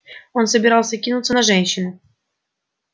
он собирался кинуться на женщину